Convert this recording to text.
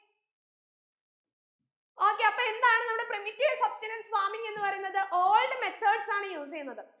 okay അപ്പൊ എന്താണ് നമ്മുടെ primitive substenance farming എന്ന് പറയുന്നത് old methods ആണ് use എയ്യുന്നത്